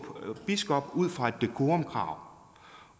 biskop ud fra et decorumkrav